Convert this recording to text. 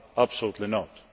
about money? Absolutely